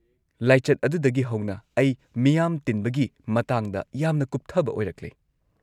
-ꯂꯥꯏꯆꯠ ꯑꯗꯨꯗꯒꯤ ꯍꯧꯅ ꯑꯩ ꯃꯤꯌꯥꯝ ꯇꯤꯟꯕꯒꯤ ꯃꯇꯥꯡꯗ ꯌꯥꯝꯅ ꯀꯨꯞꯊꯕ ꯑꯣꯏꯔꯛꯂꯦ꯫